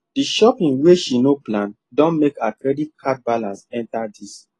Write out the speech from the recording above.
the shopping wey she no plan don make her credit card balance enter these